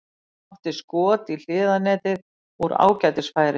Átti skot í hliðarnetið úr ágætis færi.